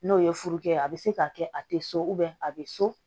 N'o ye furu kɛ a bɛ se k'a kɛ a tɛ so a bɛ so